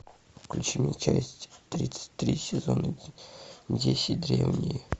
включи мне часть тридцать три сезона десять древние